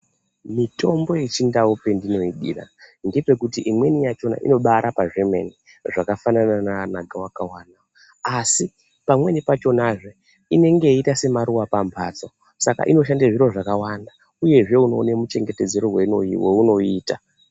Mitombo yechindau pendinoidira ngepekuti imweni yachona inobarapa zvemene, zvakafanana nana gavakava asi pamweni pachonazve inenge yeiita semaruwa pamhatso saka inoshande zviro zvakawanda uyezve unoone muchengetedzere weunoiita.